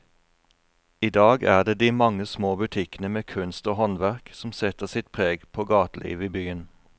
I dag er det de mange små butikkene med kunst og håndverk som setter sitt preg på gatelivet i byen.